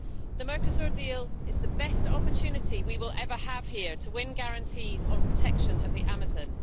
The Mercosur deal is the best opportunity we will ever have here to win guarantees on protection of the Amazon.